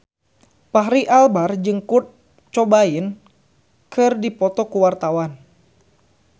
Fachri Albar jeung Kurt Cobain keur dipoto ku wartawan